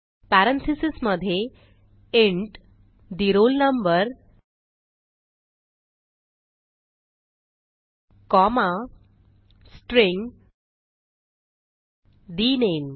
parenthesis मधे int the roll number comma string the name